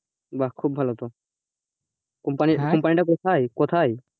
বাহ খুব ভালো তো company, company টা কোথায় কোথায়,